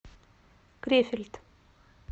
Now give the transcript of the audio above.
крефельд